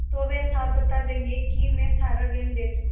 तो वे साफ बता देंगे कि मैं सारा ऋण दे चुका